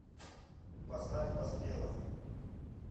поставь поспелов